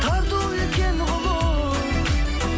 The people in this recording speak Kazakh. тарту еткен ғұмыр